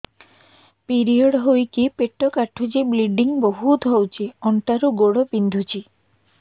period ହୋଇକି ପେଟ କାଟୁଛି ବ୍ଲିଡ଼ିଙ୍ଗ ବହୁତ ହଉଚି ଅଣ୍ଟା ରୁ ଗୋଡ ବିନ୍ଧୁଛି